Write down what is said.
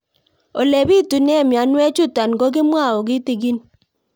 Ole pitune mionwek chutok ko kimwau kitig'ín